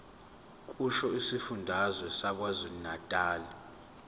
kusho isifundazwe sakwazulunatali